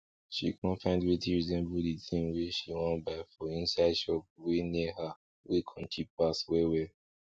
she con find wetin resemble di tin wey she wan buy for inside shop wey near her wey con cheap pass well well